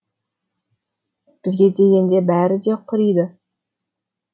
бізге дегенде бәрі де құриды